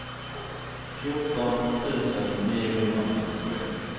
fjorton tusen niohundrafyrtioett